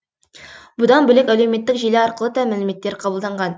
бұдан бөлек әлеуметтік желі арқылы да мәліметтер қабылданған